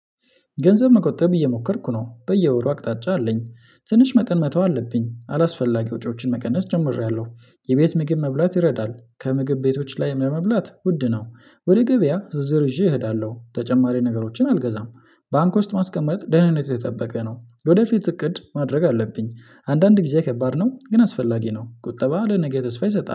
ገንዘብ መቆጠብ እየሞከርኩ ነው በየወሩ አቅጣጫ አለኝ ትንሽ መጠን መተው አለብኝ አላስፈላጊ ወጪዎችን መቀነስ ጀምሬያለሁ። የቤት ምግብ መብላት ይረዳል ከምግብ ቤቶች ላይም ለመብላት ውድ ነው ወደ ገበያ ዝርዝር ይዤ እሄዳለሁ ተጨማሪ ነገሮችን አልገዛም፤። ባንክ ውስጥ ማስቀመጥ ደህንነቱ የተጠበቀ ነው የወደፊት እቅድ ማድረግ አለብኝ። አንዳንድ ጊዜ ከባድ ነው ግን አስፈላጊ ነው ቁጠባ ለነገ ተስፋ ይሰጣል